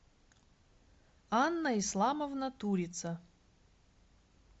анна исламовна турица